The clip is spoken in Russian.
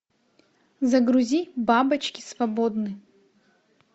загрузи бабочки свободны